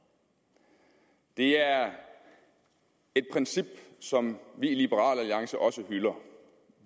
det er et princip som vi i liberal alliance også hylder